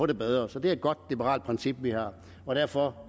det bedre så det er et godt liberalt princip vi har og derfor